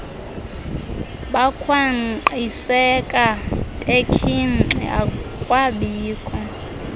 bakhwankqiseka bekhinxi akwabikho